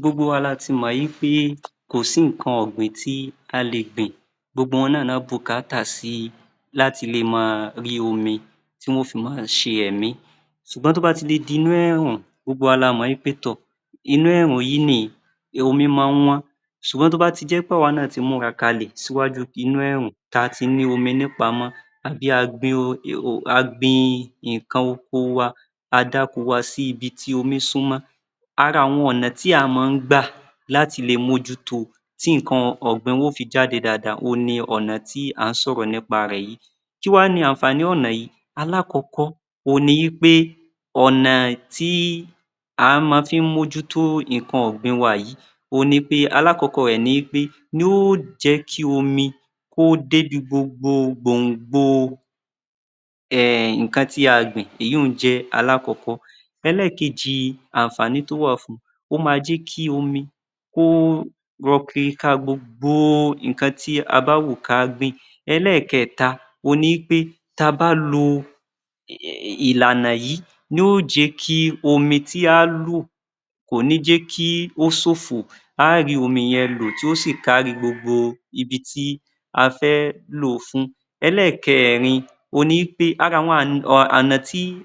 Gbogbo wa lati mọ̀ wí pé kò sí nǹkan ọ̀gbìn tí a lè gbìn, gbogbo wọn náà ló bùkátà sí láti lè máa rí omi tí wọn yóò fi máa ṣe ẹ̀mí, ṣùgbọ́n tí ó bá ti le di inú ẹ̀rùn, gbogbo wa la mọ̀ wí pé tọ̀, inú ẹ̀rùn yìí ni omi máa ń wọ́n ṣùgbọ́n tí ó bá jé wí pé àwa náà ti múra kalẹ̀ síwájú inú ẹ̀rùn tí a ti ní omi ní ìpamọ́ àbí a gbin nǹkan oko wa sí ibi tí omi súnmọ́, ara àwọn ọ̀nà tí a máa ń gbà lati le mójú to tí nǹkan ọ̀gbìn wa yóò fi jáde dáadáa òhun ni ọ̀nà tí à ń sọ̀rọ̀ nípa rẹ̀ yìí. Kíwáni àǹfààní ọ̀nà yìí? Alákọ̀ọ́ọ́ òhun ni wí pé ọ̀nà tí a máa ń fi mójútó nǹkan ìgbìn wa yìí òhun ni pé alákọ̀ọ́kọ́ rẹ̀ ni wí pé yóò jẹ́ kí omi kó débi gbòngbò nǹkan tí a gbìn, èyun-ùn jẹ́ alákọ̀ọ́kọ́. Ẹlẹ́ẹ̀kejì àǹfààní tí ó wà fun, ó máa jẹ́ kí omi kí ó lọ kiriká gbogbo nǹkan tí a bá wù ká gbìn. Ẹlẹ́ẹ̀kẹta òhun ni wí pé ta bá lo ìlànà yìí yóò jẹ́ kí omi tí á lò, kò ní jẹ́ kí ó ṣófo, a á rí omi yen lò tí yóò sì kárí gbogbo ibi tí a fẹ́ lò ó fún. Ẹlẹ́ẹ̀kẹ́rin, òhun ni wí pé ara àwọn...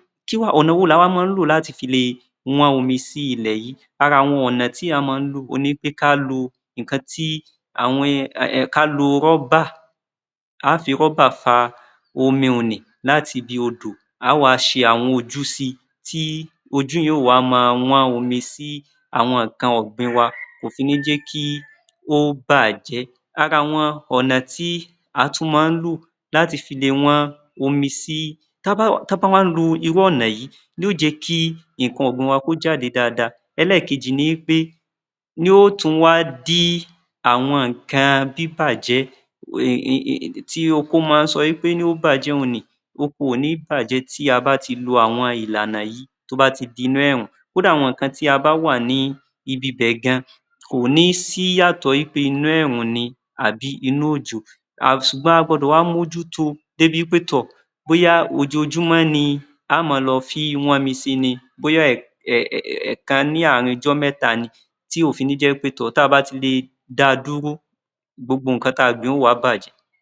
Ọ̀nà wo ni a wá máa ń lò láti fi lè wọ́n omi sí ilẹ̀ yìí? Ara àwọn ọ̀nà tí a máa ń lò òhun ni pé ká lo Ọ́bà, a ó ò fi ọ́ba fa omi láti ibi odò, a á wá ṣe àwọn ojú sí i, ojú yìí yóò wá máa wọ́n omi sí àwọn nǹkan ọ̀gbìn wa, kò fi ní jẹ́ kí ó bàjẹ́, ara àwọn ọ̀nà tí a tún máa ń lò láti fi le wọ́n omi sí..., tí a bá wá ń lo irú ọ̀nà yìí yóò jẹ́ kí nǹkan ọ̀gbìn wa jáde dáadáa, Ẹlẹ́ẹ̀kejì ni pé yóò tún wá dí àwọn nǹkan bíbàjẹ́ tí oko máa ń sọ wí pé yóò bàjẹ́ ònì oko ò ní bàjẹ́ tí a bá ti lo àwọn ìlànà yìí tí ó bá ti di inú ẹ̀rùn kódà gan tí a bá wà ní ibi bẹ̀ gan kò ní sí ìyàtọ̀ pé inú ẹ̀rùn ni tàbí inú òjò, ṣùgbọ́n a gbọdọ̀ wá mójúto débi pé tọ̀ bóyá ojoojúmọ́ ni a o máa wọ́nmi sí i ni, bóyá ẹ̀ẹ̀kan ní àárin ọjọ́ mẹ́ta ni, tí ò fi ní jẹ́ pé tọ̀ tí a bá fi le da dúró gbogbo nǹkan tí a gbìn yóò wá bàjẹ́.